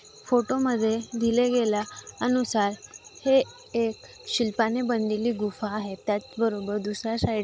photo मधे दिले गेल्या अनुसार हे एक शिल्पाने बनलेली गुफा आहे त्याच बरोबर दुसर्‍या साइड --